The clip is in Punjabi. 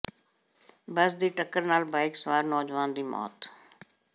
ਬਸ ਦੀ ਟੱਕਰ ਨਾਲ ਬਾਈਕ ਸਵਾਰ ਨੌਜਵਾਨ ਦੀ ਮੌਤ